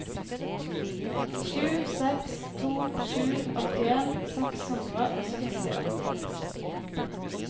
sju seks to sju åttien seks hundre og sekstiåtte